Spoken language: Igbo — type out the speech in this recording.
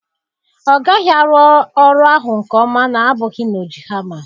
Ọ gaghị arụ ọrụ ahụ nke ọma na-abụghị na-oji hama.